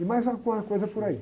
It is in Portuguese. E mais alguma coisa por aí.